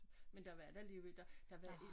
Men der var da alligevel der der var et